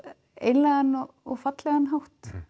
einlægan og fallegan hátt